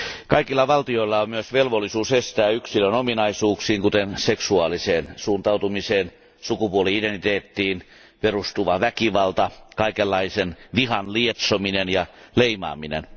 Kaikilla valtioilla on myös velvollisuus estää yksilön ominaisuuksiin, kuten seksuaaliseen suuntautumiseen ja sukupuoli identiteettiin perustuva väkivalta, kaikenlaisen vihan lietsominen ja leimaaminen.